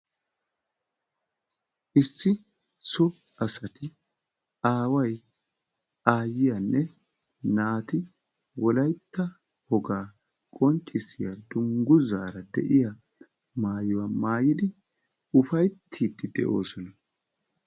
Issi so asaati aaway, aayiyanne naati wolaytta wogaa qonccissiya dungguzzara de'iya maayuwa maayiddi ufayttiidi de'osona.